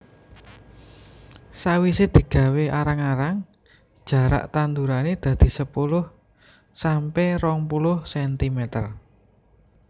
Sawise digawé arang arang jarak tandurane dadi sepuluh sampe rong puluh centimeter